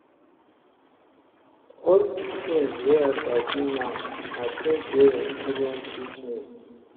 All di tins wey I sabi now na tins wey experience teach me.